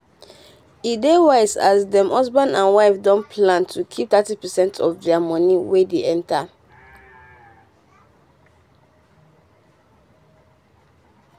e dey wise as dem husband and wife don plan to keep thirty percent of dia money wey dey enter.